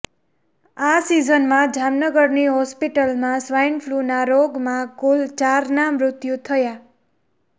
આ સીઝનમાં જામનગરની હોસ્પિટલમાં સ્વાઈનફ્લૂના રોગમાં કુલ ચારના મૃત્યુ થયા